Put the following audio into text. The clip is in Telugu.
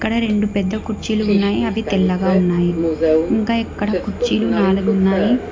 ఈడ రెండు పెద్ద కుర్చీలు ఉన్నాయి అవి తెల్లగా ఉన్నాయి ఇంకా ఎక్కడ కుర్చీలు నాలుగు ఉన్నాయి.